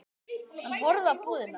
Hann horfði á búðina.